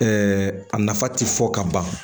a nafa tɛ fɔ ka ban